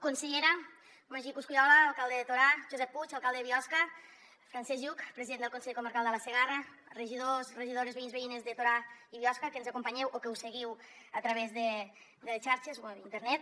consellera magí coscollola alcalde de torà josep puig alcalde biosca francesc lluch president del consell comarcal de la segarra regidors regidores veïns veïnes de torà i biosca que ens acompanyeu o que ho seguiu a través de xarxes o d’internet